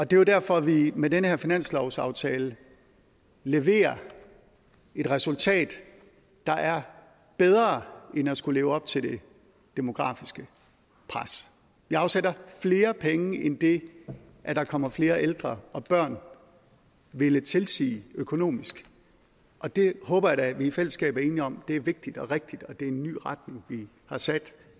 det er jo derfor at vi med den her finanslovsaftale leverer et resultat der er bedre end at skulle leve op til det demografiske pres vi afsætter flere penge end det at der kommer flere ældre og børn ville tilsige økonomisk og det håber jeg da at vi i fællesskab er enige om er vigtigt og rigtigt og en ny retning vi har sat